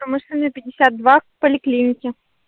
поликлинике